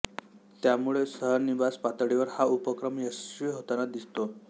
त्यामुळे सहनिवास पातळीवर हा उपक्रम यशस्वी होताना दिसतो